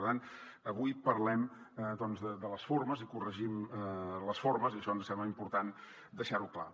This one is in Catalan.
per tant avui parlem de les formes i corregim les formes i això ens sembla important deixar ho clar